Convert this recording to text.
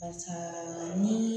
Barisa ni